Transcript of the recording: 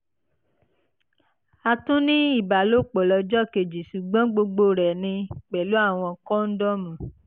a tún ní ìbálòpọ̀ lọ́jọ́ kejì ṣùgbọ́n gbogbo rẹ̀ ni pẹ̀lú àwọn kóndómù